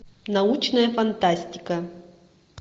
научная фантастика